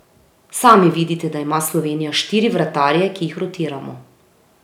Sami vidite, da ima Slovenija štiri vratarje, ki jih rotiramo.